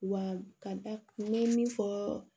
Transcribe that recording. Wa ka da n bɛ min fɔ